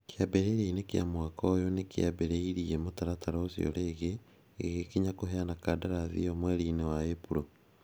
Kĩambĩrĩria-inĩ kĩa mwaka ũyũ nĩ kĩambĩrĩirie mũtaratara ũcio rĩngĩ. Gĩgĩkinya kũheana kandarathi ĩyo mweri-inĩ wa Ĩpuro.